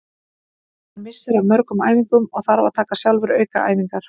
Hann missir af mörgum æfingum og þarf að taka sjálfur aukaæfingar.